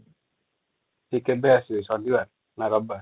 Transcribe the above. ticket ବି ଶନିବାର ନା ରବିବାର |